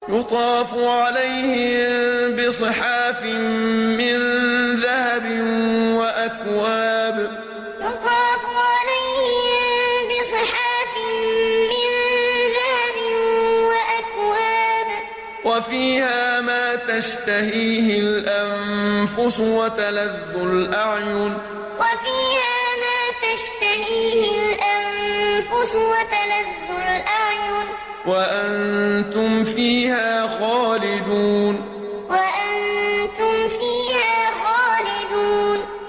يُطَافُ عَلَيْهِم بِصِحَافٍ مِّن ذَهَبٍ وَأَكْوَابٍ ۖ وَفِيهَا مَا تَشْتَهِيهِ الْأَنفُسُ وَتَلَذُّ الْأَعْيُنُ ۖ وَأَنتُمْ فِيهَا خَالِدُونَ يُطَافُ عَلَيْهِم بِصِحَافٍ مِّن ذَهَبٍ وَأَكْوَابٍ ۖ وَفِيهَا مَا تَشْتَهِيهِ الْأَنفُسُ وَتَلَذُّ الْأَعْيُنُ ۖ وَأَنتُمْ فِيهَا خَالِدُونَ